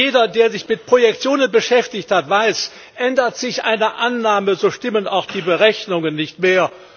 Jeder, der sich mit Projektionen beschäftigt hat, weiß Ändert sich eine Annahme, so stimmen auch die Berechnungen nicht mehr.